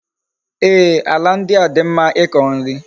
Ee, ala ndi a di mma iko nri